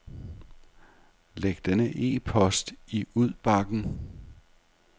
Læg denne e-post i udbakken.